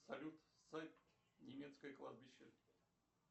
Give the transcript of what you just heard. салют сайт немецкое кладбище